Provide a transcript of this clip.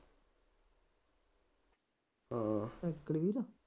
ਹਾਂ